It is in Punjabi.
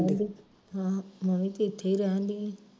ਹਾਂ ਮੈਂ ਵੀ ਤੇ ਇਥੇ ਈ ਰਹਿਣ ਦਈ ਆ